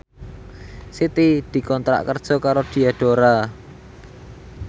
Siti dikontrak kerja karo Diadora